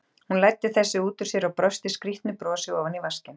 Hún læddi þessu út úr sér og brosti skrýtnu brosi ofan í vaskinn.